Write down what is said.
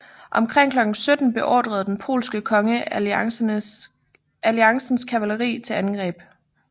Omkring klokken 17 beordrede den polske konge alliancens kavaleri til angreb